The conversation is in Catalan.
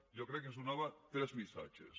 jo crec que ens donava tres missatges